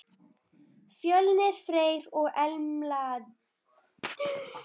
Fjölnir Freyr og Embla Dögg.